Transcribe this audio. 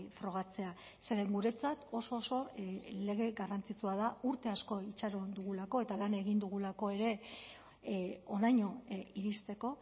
frogatzea zeren guretzat oso oso garrantzitsua da urte asko itxaron dugulako eta lan egin dugulako ere honaino iristeko